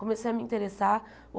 Comecei a me interessar.